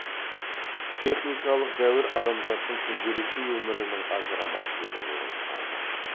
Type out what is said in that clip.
техникалық дәуір адамзаттың күнделікті өмірінің ажырамас бөлігі болып қалды